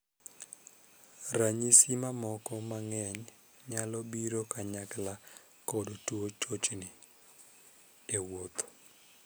Ranyisi mamoko. Ranyisi mamoko mang'eny nyalo biro kanyakla kod tuo chochni (tetni) e wuoth.